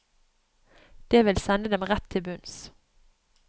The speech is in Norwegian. Det vil sende dem rett til bunns.